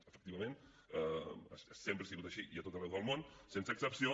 efectivament sempre ha sigut així i a tot arreu del món sense excepció